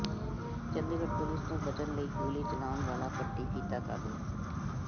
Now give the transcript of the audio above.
Chandigarh police ਤੋਂ ਬਚਣ ਲਈ ਗੋਲੀ ਚਲਾਉਣ ਵਾਲਾ ਭੱਟੀ ਕੀਤਾ ਕਾਬੂ